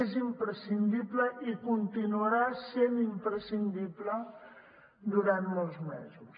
és imprescindible i continuarà sent imprescindible durant molts mesos